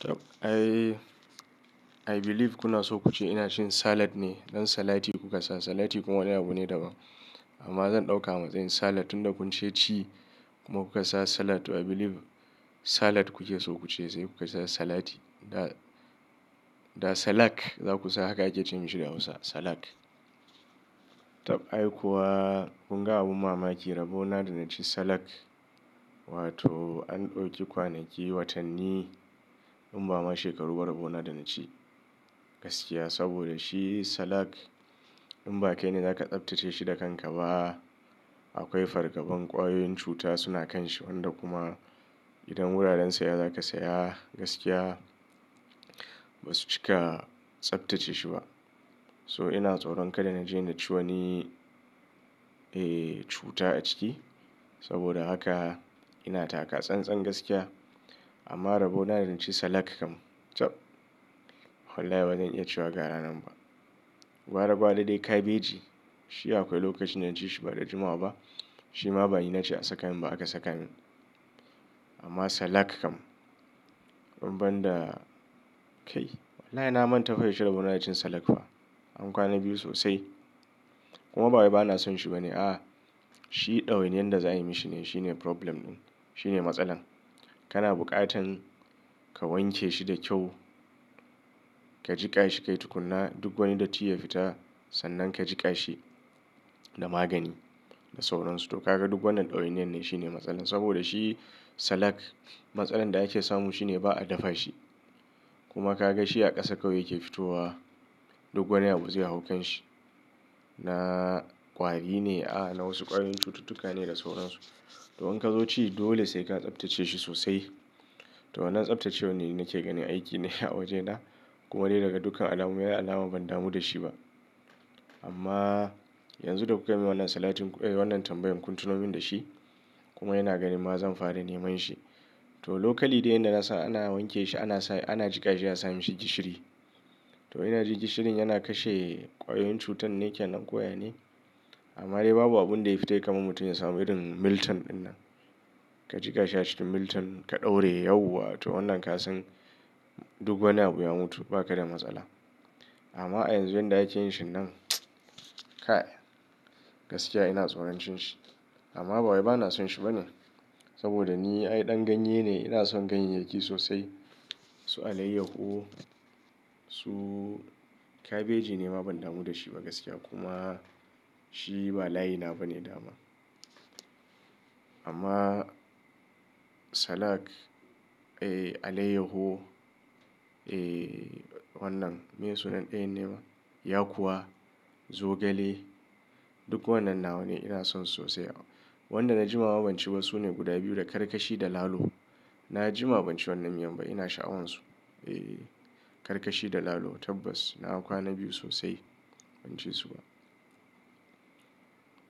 Tabb, I believe kuna so kuce ina cin salad ne, don salati kuka sa. Salati kuma wani abu ne daban. Amma zan ɗauka a matsayin salad, tunda kun ce ci kuma kuka sa salad. I believe salad kuke so kuce sai kuka sa salati. Da salak za ku sa haka ake ce mishi da Hausa, salad Tabb, ai kuwa kun ga abu mamaki, rabona da na ci salad, wato an ɗauki kwanaki watanni in ba ma shekaru ba rabona da na ci gaskiya. Saboda shi salad in ba kai ne za ka tsaftace shi da kanka ba, akwai fargaban ƙwayoyin cuta suna kanshi. Wanda kuma idan wuraren saya za ka saya gaskiya ba su cika tsaftace shi ba. To ina tsoron kada na je na ci wani, eh cuta a ciki. Saboda haka ina taka tsantsan gaskiya. Amma rabona da na ci salad kam, tabb wallahi ba zan iya cewa ga ranan ba. Gwara-gwara dai kabeji, shi akwai lokacin da na ci shi ba da jimawa ba. Shi ma bani na ce a saka min ba aka saka min. Amma salad kam in ban da, kai wallahi na manta ko yaushe da rabona da cin salad ba. An kwana biyu sosai. Kuma bawai ba na son shi ba ne? Ah, shi ɗawainiyar da za a yi mishi ne shine problem ɗin, shine matsalar. Kana buƙatar ka wanke shi da kyau, ka jiƙa shi ka yi tukuna duk wani datti ya fita, sannan ka jiƙa shi da magani da sauransu. To kaga duk wannan ɗawainiyar ne shine matsalar. Saboda shi salad matsalar da ake samu shi ne ba a dafa shi. Kuma ka ga shi a ƙasa kawai yake fitowa. Duk wani abu zai hau kanshi. Na ƙwari ne? A'a, na wasu ƙwayoyin cututtuka ne da sauransu. To in ka zo ci, dole sai ka tsaftace shi sosai. To wannan tsaftacewar ni nake ganin aiki ne a wajena. Kuma dai daga dukkan alamu, mai alama ban damu da shi ba. Amma yanzu da kuka min wannan salatin, eh wannan tambayan kun tuno min da shi. Kuma yana ganin ma zan fara neman shi. To lokali dai yanda na san ana wanke shi, ana jika shi a sami shi gishiri. To ina ji gishirin yana kashe ƙwayoyin cutar ne kenan ko ya ne? Amma dai babu abun da ya fita ya kama mutum ya samu irin Milton ɗinnan. Ka jiƙa shi a cikin Milton, ka ɗaura yau wato wannan ka san duk wani abu ya mutu, ba ka da matsala. Amma a yanzu yanda ake yin shi nan, kai gaskiya ina tsoron cin shi. Amma ba wai ba na son shi ba ne? Saboda ni ai ɗan ganye ne, ina son ganyeyyaki sosai. Su alayyahu, su kabeji nema ban damu da shi ba gaskiya. Kuma shi ba layi na ba ne dama. Amma salad, eh alayyahu, eh wannan, me suna ɗayan ne ma? Yakuwa, zogale, duk wannan nawa ne ina son su sosai. Wanda na jima ma ban ci ba sune guda biyu da karkashi da lalo. Na jima ban ci wannan miyan ba, ina sha'awansu. Eh, karkashi da lalo tabbas na kwana biyu sosai ban ci su ba.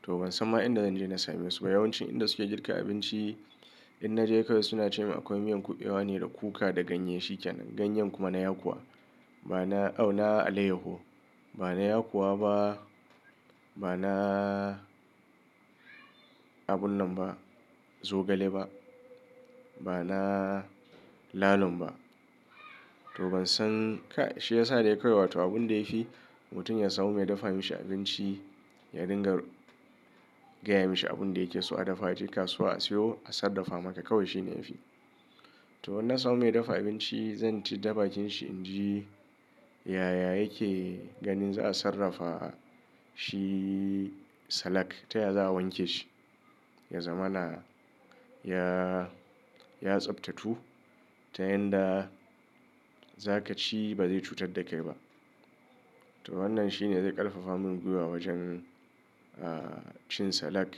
To ban san ma inda zan je na same su ba. Yawancin inda suke girka abinci, in na je kawai suna ce min akwai miyan ƙuɓewa ne da kuka da ganye shi kenan. Ganye kuma na yakuwa. Ba na, aw na alayyahu. Ba na yakowa ba, ba na abun nan ba, zogale ba. Ba na lalon ba. To ban san, ka shi ya sa dai kawai wato abun da ya fi mutum ya samu mai dafa mishi abinci ya dinga gaya mishi abun da yake so a dafa. Aje kasuwa a siyo, a sarrafa maka kawai shi ne ya fi. To in na samu mai dafa abinci zan ci ta bakin shi in ji yaya yake ganin za a sarrafa shi salad. Ta yaya za a wanke shi, ya zama na, ya, ya tsaftatu. Ta yanda za ka ci ba zai cutar da kai ba. To wannan shi ne zai ƙarfafa min gwiwa wajen, ah cin salad.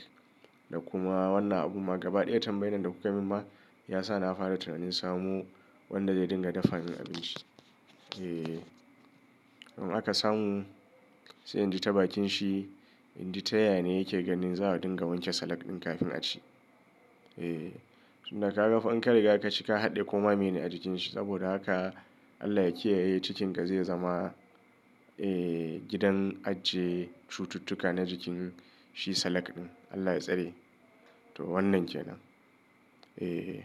Da kuma wannan abu ma gaba ɗaya tambayan da kuka min ma ya sa na fara tunanin samu wanda zai dinga dafa min abinci. Eh, in aka samu sai in ji ta bakin shi in ji ta yaya ne yake ganin za a dinga wanke salad ɗin kafin a ci. Eh, tunda ka ga fankan riga ka ci ka haɗe koma mene a jikin shi. Saboda haka Allah ya kiyaye cikin ka zai zama, eh gidan ajiye cututtuka na jikin shi salad ɗin. Allah ya tsare. To wannan kenan. Eh.